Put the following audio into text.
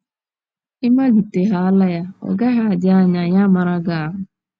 Ị malitehaala ya, ọ gaghị adị anya ya amara gị ahụ́.